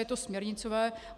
Je to směrnicové.